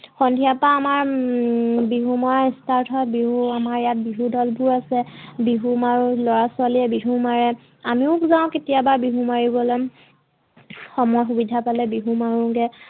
সন্ধিয়াৰ পৰা আমাৰ হম বিহু মৰা স্তাৰ্ত হয়। বিহু আমাৰ ইয়াত বিহু দলবোৰ আছে বিহু মাৰো লৰা ছোৱালীয়ে বিহু মাৰে, আমিও যাওঁ কেতিয়াবা বিহু মাৰিবলৈ। সময় সুবিধা পালে বিহু মাৰোগে